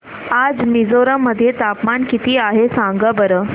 आज मिझोरम मध्ये तापमान किती आहे सांगा बरं